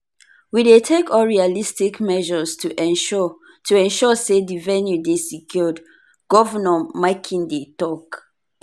we dey take all realistic measures to ensure to ensure say di venue dey secured" govnor makinde tok.